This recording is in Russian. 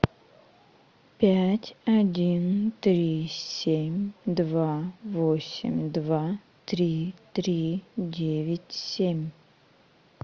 пять один три семь два восемь два три три девять семь